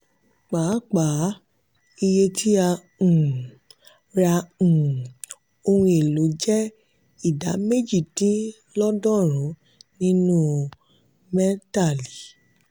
pàápàá iye tí a um ra um ohun èlò je idà méjì dín lọ́dọ̀rùn nínú mẹ́tàlì.